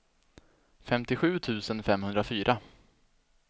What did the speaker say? femtiosju tusen femhundrafyra